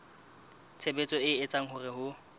tshebetso e etsang hore ho